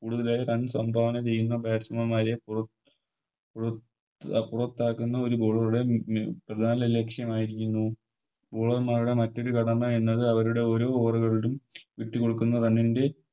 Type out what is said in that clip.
ഇതുവരെ Runs എന്താണ് ചെയ്യുന്ന Batsman മാരെ പൊ പോ പൊറത്താക്കുന്ന ഒരു Ball കളുടെ പ്രധാന ലക്ഷ്യമായിരിക്കുന്നു Bowler മാരുടെ മറ്റൊരു കടമ എന്നത് അവരുടെ ഒര് Over കളിലും വിട്ട് കൊടുക്കുന്ന Run ൻറെ